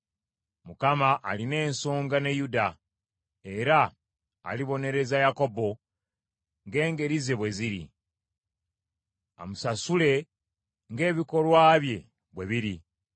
Mukama alina ensonga ne Yuda, era alibonereza Yakobo ng’engeri ze bwe ziri. Amusasule ng’ebikolwa bye bwe biri.